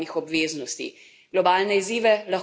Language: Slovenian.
Ravno sem se vrnila iz države Niger.